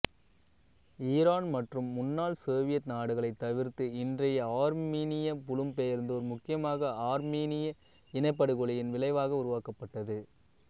Iran மற்றும் முன்னாள் Soviet நாடுகளைத் தவிர்த்து இன்றைய ஆர்மீனிய புலம்பெயர்ந்தோர் முக்கியமாக ஆர்மீனிய இனப்படுகொலையின் விளைவாக உருவாக்கப்பட்டது